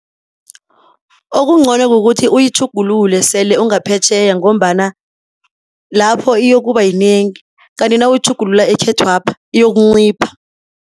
Okuncono kukuthi uyitjhugululele sele ungaphetjheya, ngombana lapho iyokuba yinengi, kanti nawuyitjhugulula ekhethwapha iyokuncipha.